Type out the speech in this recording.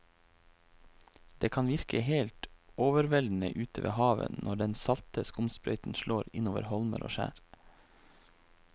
Det kan virke helt overveldende ute ved havet når den salte skumsprøyten slår innover holmer og skjær.